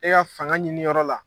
E y'a fanga ɲininyɔrɔ la